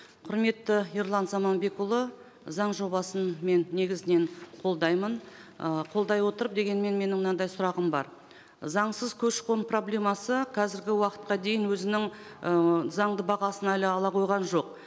құрметті ерлан заманбекұлы заң жобасын мен негізінен қолдаймын ы қолдай отырып дегенмен менің мынандай сұрағым бар заңсыз көші қон проблемасы қазіргі уақытқа дейін өзінің ыыы заңды бағасын әлі ала қойған жоқ